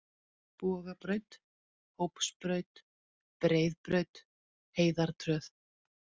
Bogabraut, Hópsbraut, Breiðbraut, Heiðartröð